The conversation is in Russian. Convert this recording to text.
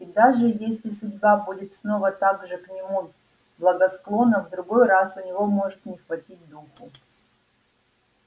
и даже если судьба будет снова так же к нему благосклонна в другой раз у него может не хватить духу